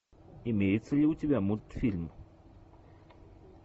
имеется ли у тебя мультфильм